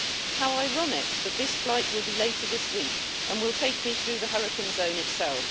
How ironic that this flight will be later this week, and will take me through the hurricane zone itself.